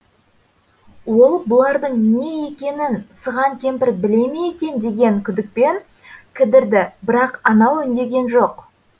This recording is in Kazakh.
ол бұлардың не екенін сыған кемпір біле ме екен деген күдікпен кідірді бірақ анау үндеген жоқ